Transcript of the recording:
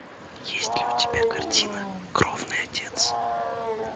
есть ли у тебя картина кровный отец